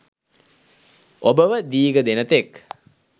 ඔබව දීග දෙන තෙක්